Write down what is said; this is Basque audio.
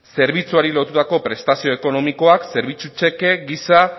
zerbitzuari lotutako prestazio ekonomikoa zerbitzu txeke gisa